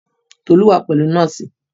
Tolu wa pẹ̀lú nọ́ọ̀sì